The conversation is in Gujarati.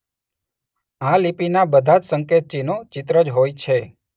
આ લિપિના બધાજ સંકેત ચિન્હો ચિત્ર જ હોય છે.